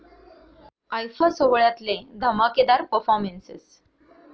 IIFA' सोहळ्यातले धमाकेदार performances